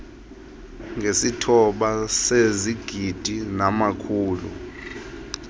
ngesithoba sezigidi namakhulu